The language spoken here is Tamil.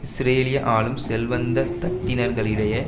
இஸ்ரேலிய ஆளும் செல்வந்த தட்டினர்களிடையே